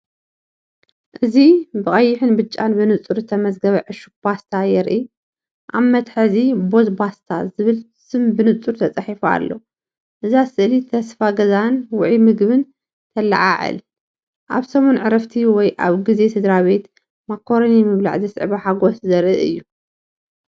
እዚ ብቐይሕን ብጫን ብንጹር ዝተመዝገበ ዕሹግ ፓስታ የርኢ። ኣብቲ መትሓዚ “ቦዝ ፓስታ” ዝብል ስም ብንጹር ተጻሒፉ ኣሎ። እዛ ስእሊ ተስፋ ገዛን ውዑይ ምግብን ትለዓዓል። ኣብ ሰሙን ዕረፍቲ ወይ ኣብ ግዜ ስድራቤት ማካሮኒ ምብላዕ ዘስዕቦ ሓጎስ ዘርኢ እዩ።